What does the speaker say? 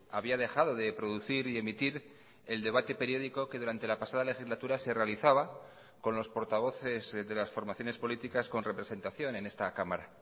había dejado de producir y emitir el debate periódico que durante la pasada legislatura se realizaba con los portavoces de las formaciones políticas con representación en esta cámara